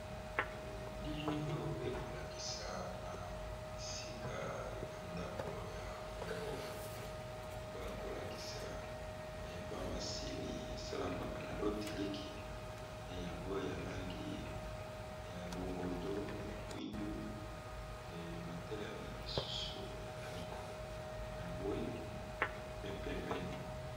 Elili oyo ekolakisa na bisika ya ndako ya mobongo bakolakisa ba masini esalamaka na lo tiliki eyango ya langi ya longondo ya mwindu pe matelani mosusu ya langi ya mbwe pe pembe.